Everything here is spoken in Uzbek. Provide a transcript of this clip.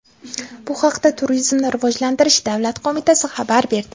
Bu haqda Turizmni rivojlantirish davlat qo‘mitasi xabar berdi.